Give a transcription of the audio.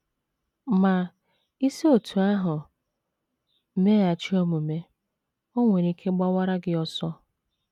Ma, i si otú ahụ meghachi omume, o nwere ike gbawara gị ọsọ.